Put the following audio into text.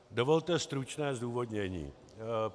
Dovolte stručné zdůvodnění.